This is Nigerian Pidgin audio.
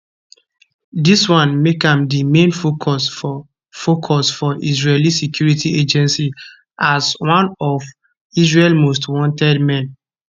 dis one make am di main focus for focus for israeli security agencies as one of israel most wanted men